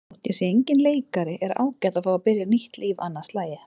Þótt ég sé enginn leikari er ágætt að fá að byrja nýtt líf annað slagið.